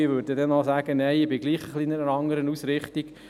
Alle sagten dann noch, sie hätten noch eine etwas andere Ausrichtung.